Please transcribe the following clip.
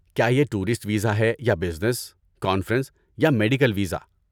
کیا یہ tourist visa ہے یا بزنس، کانفرنس یا میڈیکل ویزا؟